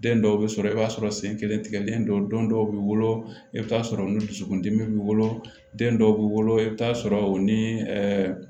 Den dɔw bɛ sɔrɔ i b'a sɔrɔ sen kelen tigɛlen don don dɔw b'i wolo i bɛ t'a sɔrɔ olu dusukun dimi b'i bolo den dɔw b'i wolo i bɛ t'a sɔrɔ o ni